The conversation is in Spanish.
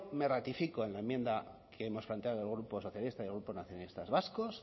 me ratifico en la enmienda que hemos planteado el grupo socialista y el grupo nacionalistas vascos